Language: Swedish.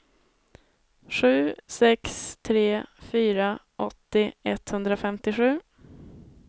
sju sex tre fyra åttio etthundrafemtiosju